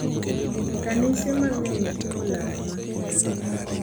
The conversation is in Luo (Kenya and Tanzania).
Kanise mang’eny timo lamo makende ,.